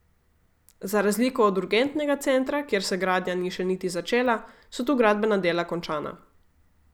Za razliko od urgentnega centra, kjer se gradnja ni še niti začela, so tu gradbena dela končana.